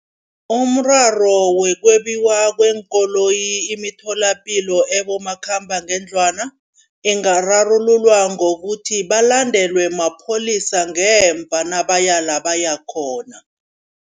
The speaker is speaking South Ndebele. Umraro wokwebiwa kweenkoloyi imitholapilo ebomakhambangendlwana, ingararululwa ngokuthi balandelwe mapholisa ngemva nabaya la bayakhona.